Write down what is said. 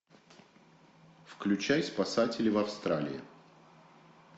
включай спасатели в австралии